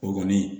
O kɔni